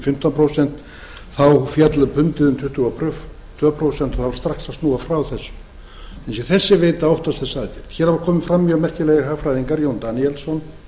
fimmtán prósent féll pundið um tuttugu og tvö prósent og það varð strax að snúa frá þessu óttast þessa aðgerð hér hafa komið fram mjög merkilegir hagfræðingar jón daníelsson